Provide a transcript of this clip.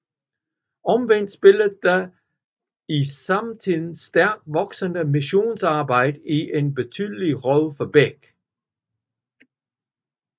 Omvendt spillede det i samtiden stærkt voksende missionsarbejde en ubetydelig rolle for Beck